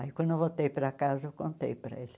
Aí, quando eu voltei para casa, eu contei para ele.